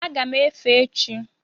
Aga m efe echi